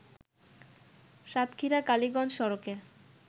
সাতক্ষীরা-কালিগঞ্জ সড়কের